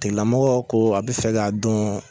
Tigilamɔgɔ ko a bɛ fɛ k'a dɔn.